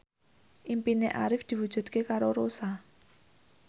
impine Arif diwujudke karo Rossa